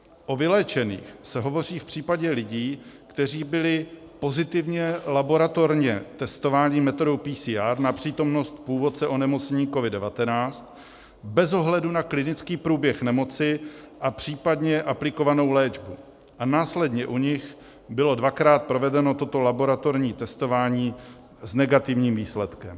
O vyléčených se hovoří v případě lidí, kteří byli pozitivně laboratorně testováni metodou PCR na přítomnost původce onemocnění COVID-19 bez ohledu na klinický průběh nemoci a případně aplikovanou léčbu a následně u nich bylo dvakrát provedeno toto laboratorní testování s negativním výsledkem.